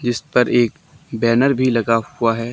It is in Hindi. इस पर एक बैनर भी लगा हुआ है।